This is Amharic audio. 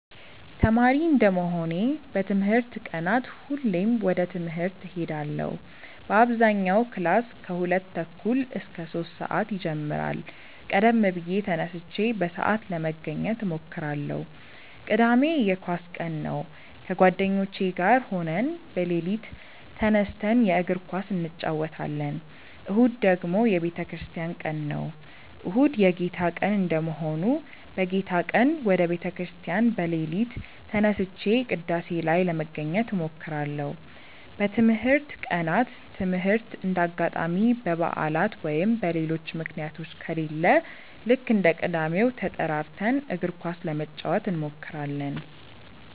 ተማሪ እንደመሆኔ በትምህርት ቀናት ሁሌም ወደ ትምህርት እሄዳለው በአብዛኛው ክላስ ከሁለት ተኩል እስከ ሶስት ሰአት ይጀምራል ቀደም ብዬ ተነስቼ በሰአት ለመገኘት እሞክራለው። ቅዳሜ የኳስ ቀን ነው ከጓደኞቼ ጋር ሆነን በሌሊት ተነስተን የእግር ኳስ እንጨወታለን። እሁድ ደግሞ የቤተክርስቲያን ቀን ነው። እሁድ የጌታ ቀን እንደመሆኑ በጌታ ቀን ወደ ቤተ ክርስቲያን በሌሊት ተነስቼ ቅዳሴ ላይ ለመገኘት እሞክራለው። በትምህርት ቀናት ትምህርት እንደ አጋጣሚ በባዕላት ወይም በሌሎች ምክንያቶች ከሌለ ልክ እንደ ቅዳሜው ተጠራርተን እግር ኳስ ለመጫወት እንሞክራለው።